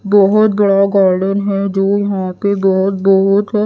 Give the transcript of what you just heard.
बहोत बड़ा गार्डन है जो यहां पे बहोत बहोत--